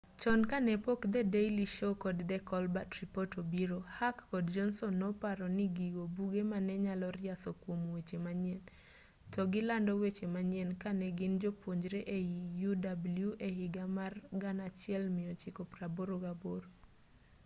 chon ka ne pok the daily show kod the colbert report obiro hack kod johnson noparo ni gigo buge mane nyalo riaso kuom weche manyien to gi lando weche manyien ka ne gin jopuonjre ei uw e higa mar 1988